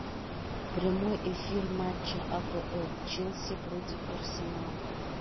прямой эфир матча апл челси против арсенала